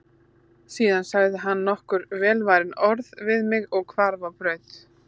Síðan sagði hann nokkur velvalin orð við mig og hvarf á braut.